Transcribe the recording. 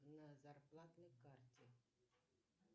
на зарплатной карте